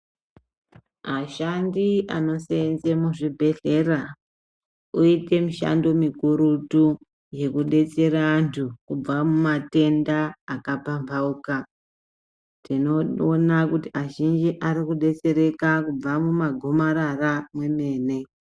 Ashandi anosenze muzvibhehlera oite mishando mikurutu yekudetsera antu kubva mumatenda akapambauka tinoona kuti azhinji arikudetsereka kubva mumagomarara mwemene.